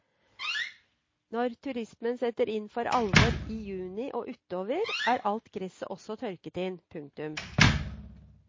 Når turismen setter inn for alvor i juni og utover er alt gresset også tørket inn. punktum